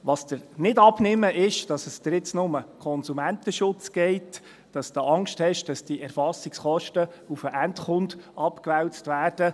Was ich dir nicht abnehme, ist, dass es dir nun noch um den Konsumentenschutz geht, dass du Angst hast, dass die Erfassungskosten auf den Endkunden abgewälzt werden.